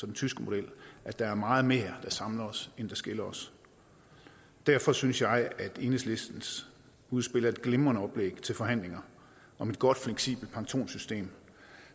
den tyske model at der er meget mere der samler os end der skiller os derfor synes jeg at enhedslistens udspil er et glimrende oplæg til forhandlinger om et godt fleksibelt pensionssystem